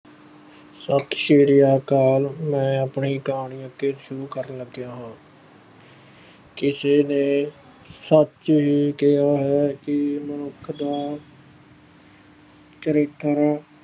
ਸਤਿ ਸ੍ਰੀ ਅਕਾਲ ਮੈਂ ਆਪਣੀ ਕਹਾਣੀ ਅੱਗੇ ਸ਼ੁਰੂ ਕਰਨ ਲੱਗਿਆ ਹਾਂ ਕਿਸੇ ਨੇ ਸੱਚ ਹੀ ਕਿਹਾ ਹੈ ਕਿ ਮਨੁੱਖ ਦਾ ਚਰਿੱਤਰ